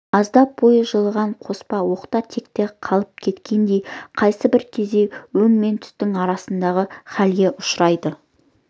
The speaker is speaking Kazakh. аздап бойы жылыған қоспан оқта-текте қалғып кеткендей қайсы бір кезде өң мен түстің арасындағы хәлге ұшырайды